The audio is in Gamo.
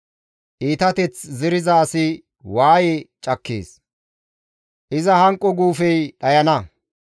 Iitateth zeriza asi waaye cakkees; iza hanqo guufey dhayana.